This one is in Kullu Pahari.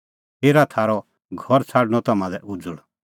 हेरा थारअ घर छ़ाडअ तम्हां लै उज़ल़